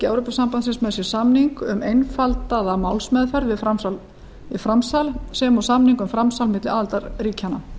evrópusambandsins með sér samning um einfaldaða málsmeðferð við framsal sem og samning um framsal milli aðildarríkjanna